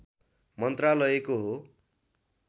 मन्त्रालयको हो